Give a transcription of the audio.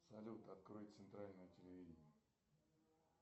салют открой центральное телевидение